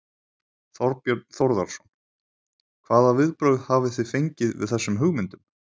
Þorbjörn Þórðarson: Hvaða viðbrögð hafið þið fengið við þessum hugmyndum?